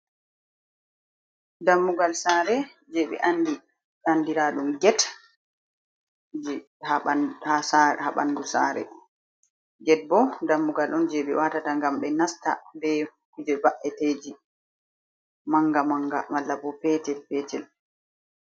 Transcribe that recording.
Dammugal sare je be andi andiradum get ha bandu sare, get bo dammugal don je be watata gam be nasta be kuje ba’eteji manga manga malla bo petel petel.